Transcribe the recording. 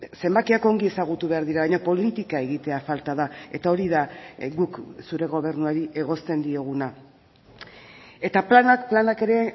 zenbakiak ongi ezagutu behar dira baina politika egitea falta da eta hori da guk zure gobernuari egozten dioguna eta planak planak ere